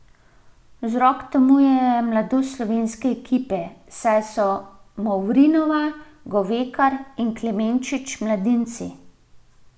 Vzrok temu je mladost slovenske ekipe, saj so Movrinova, Govekar in Klemenčič mladinci.